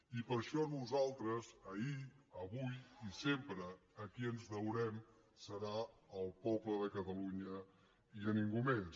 i per això nosaltres ahir avui i sempre a qui ens deurem serà al poble de catalunya i a ningú més